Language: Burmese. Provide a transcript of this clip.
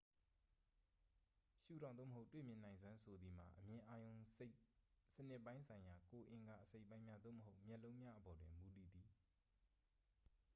ရှုထောင့် သို့မဟုတ် တွေ့မြင်နိုင်စွမ်း ဆိုသည်မှာ အမြင်အာရုံစနစ်ပိုင်းဆိုင်ရာ ကိုယ်အင်္ဂါအစိတ်အပိုင်းများ သို့မဟုတ် မျက်လုံးများအပေါ်တွင် မူတည်သည်